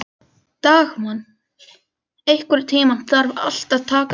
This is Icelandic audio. Dagmann, einhvern tímann þarf allt að taka enda.